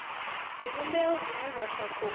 zwivhumbeo zwine zwa sa khou